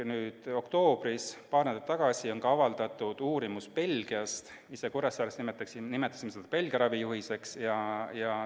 Nüüd, oktoobris, paar nädalat tagasi on avaldatud ka üks Belgia uurimus – me ise Kuressaare Haiglas nimetame seda Belgia ravijuhiseks.